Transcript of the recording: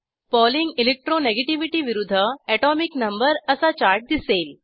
polling electro negativity विरूध्द atomic number असा chart दिसेल